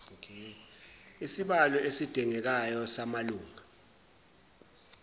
isibalo esidingekayo samalunga